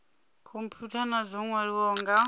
khomphutha na dzo nwaliwaho nga